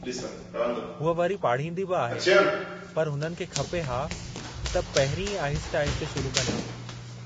हूअ वरी पाढ़ींदी बि आहे, पर हुननि खे खपे हा त पहिरी ई आहिस्ते-आहिस्ते शुरू कनि हा।